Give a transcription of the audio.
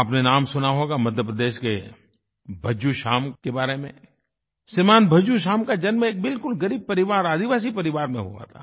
आपने नाम सुना होगा मध्य प्रदेश के भज्जू श्याम के बारे में श्रीमान् भज्जू श्याम का जन्म एक बिलकुल ग़रीब परिवार आदिवासी परिवार में हुआ था